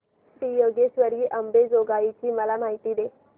श्री योगेश्वरी अंबेजोगाई ची मला माहिती दे